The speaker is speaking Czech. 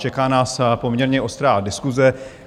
Čeká nás poměrně ostrá diskuse.